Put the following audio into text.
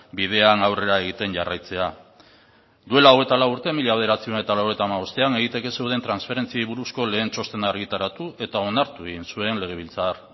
bidean aurrera egiten jarraitzea duela hogeita lau urte mila bederatziehun eta laurogeita hamabostean egiteke zeuden transferentziei buruzko lehen txostena argitaratu eta onartu egin zuen legebiltzar